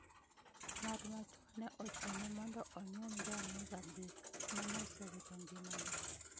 Ng'at ma chuo ne ochune mondo onyuom ja mozambique maneosewito ngimane